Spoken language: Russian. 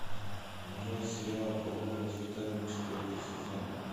нарой сериал половое воспитание четвертый сезон